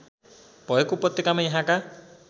भएको उपत्यकामा यहाँका